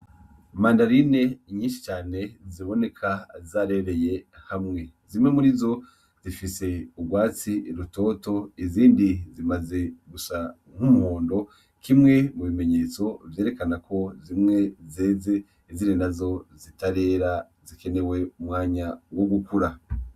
Mandarine nyinshi cane ziboneka zarereye hamwe, zimwe murizo zifise urwatsi rutoto izindi zimaze gusa n'umuhondo, kimwe mukimenyetso cerekana ko zimwe zeze izindi nazo zitarera zikenewe umwanya wo gukura.